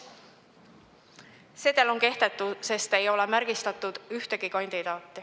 Sedel on kehtetu, sest ei ole märgistatud ühtegi kandidaati.